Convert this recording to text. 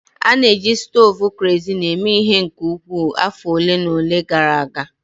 A na-eji stovu kerosin eme ihe nke ukwuu afọ ole na ole gara aga